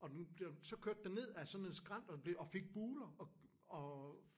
Og den den så kørte den ned af sådan en skrant og blev og fik buler og